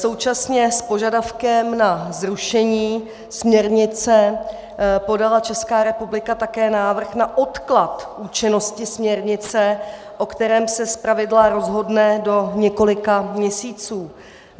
Současně s požadavkem na zrušení směrnice podala Česká republika také návrh na odklad účinnosti směrnice, o kterém se zpravidla rozhodne do několika měsíců.